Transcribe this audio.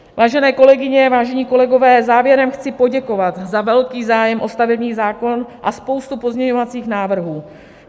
Vážené kolegyně, vážení kolegové, závěrem chci poděkovat za velký zájem o stavební zákon a spoustu pozměňovacích návrhů.